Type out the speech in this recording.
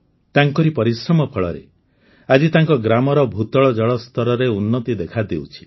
ତାଙ୍କରି ପରିଶ୍ରମ ଫଳରେ ଆଜି ତାଙ୍କ ଗ୍ରାମର ଭୂତଳ ଜଳ ସ୍ତରରେ ଉନ୍ନତି ଦେଖାଦେଉଛି